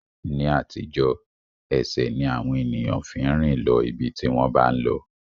Ní àtijọ́, ẹsẹ̀ ni àwọn ènìyàn fi ń rìn lọ ibi tí wọ́n bá ń lọ